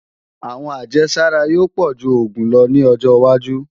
Àwọn ajésára yóò pọ̀ju oògùn lọ ní ọjọwájú